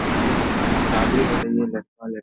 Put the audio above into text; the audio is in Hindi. यहाँ पे ये हो रही है लड़का-लड़की --